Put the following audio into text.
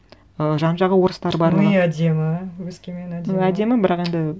ы жан жағы орыстар барлығы но и әдемі өскемен әдемі әдемі бәрақ енді